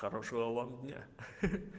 хорошего вам дня ха-ха